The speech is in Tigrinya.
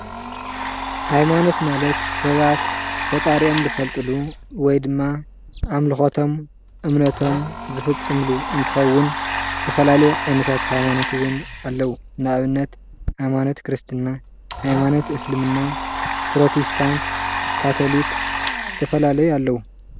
ሃይማኖት ማለት ሰባት ፈጣሪኦም ዝፈልጥሉ ወይ ድማ ኣምልከቶም እምነቶም ዝፍፅምሉ እንትከውን ፣ ዝተፈላለዩ ዓይነታት ሃይማኖት እውን ኣለው:: ሃይማኖት ክርስትና፣ ሃይማኖት እስልምና፣ ፕሮቴስታንት፣ ካቶሊክ ዝተፈላለዩ ኣለው፡፡